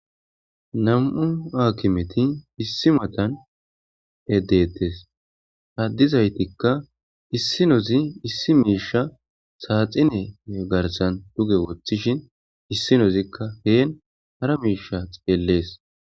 Nam'u aakimeti issi matan eddettes haddizaytikka issinozi issi miisha saaxine garsan duge woththishin issinozikka heen hara miisha xeellees